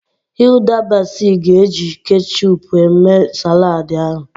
Hilda Baci ga-eji kechup eme saladị ahụ.